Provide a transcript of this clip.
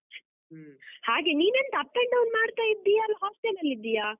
ಹಾಗೆ ನೀನೆಂತ up and down ಮಾಡ್ತಾ ಇದ್ದೀಯಾ, ಅಲ್ಲ hostel ಅಲ್ಲಿದ್ದೀಯಾ?